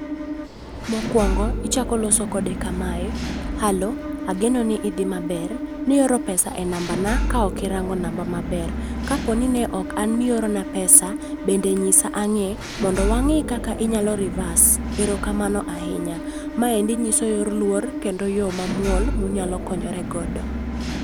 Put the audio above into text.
Mokwongo, ichako loso kode kamae, halo, ageno ni idhi maber, nioro pesa e nambana ka ok irango namba maber. Kaponi ne ok an miorona pesa, bende nyisa ang'e mondo wang'e kaka inyalo reverse. Erokamano ahinya. Maendi nyiso yor luor kendo yo mamuol munyalo konyore godo